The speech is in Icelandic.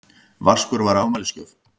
Vaskur var afmælisgjöf.